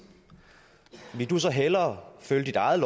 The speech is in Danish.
ville du så hellere følge dit eget